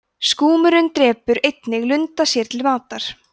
skúmurinn drepur einnig lunda sér til matar